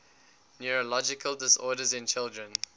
neurological disorders in children